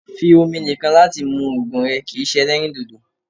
fí omi nìkàn láti mù òògùn rẹ̀ kìí ṣe èlẹrīndòdò